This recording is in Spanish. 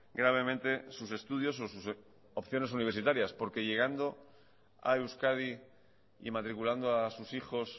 gravemente sus estudios o sus opciones universitarias porque llagando a euskadi y matriculando a sus hijos